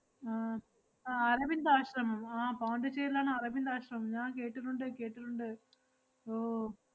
ആഹ് അഹ് അരബിന്ദ ആശ്രമം ആഹ് പോണ്ടിച്ചേരിലാണ് അരബിന്ദ ആശ്രമം. ഞാൻ കേട്ടിട്ടുണ്ട് കേട്ടിട്ടുണ്ട്, ഓ.